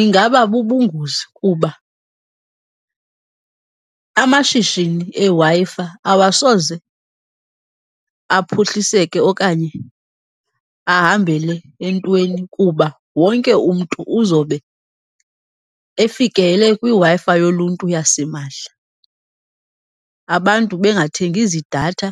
Ingaba bubungozi kuba amashishini eWi-Fi awasoze aphuhliseke okanye ahambele entweni kuba wonke umntu uzobe efikelele kwiWi-Fi yoluntu yasimahla, abantu bengathengi zidatha